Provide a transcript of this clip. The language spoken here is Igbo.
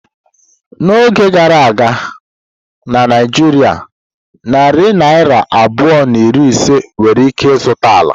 N'oge gara aga na Naijiria narị naira abụọ na iri ise nwere ike zụta ala.